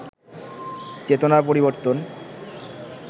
চেতনার পরিবর্তন